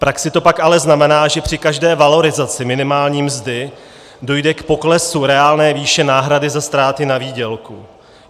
V praxi to pak ale znamená, že při každé valorizaci minimální mzdy dojde k poklesu reálné výše náhrady za ztráty na výdělku.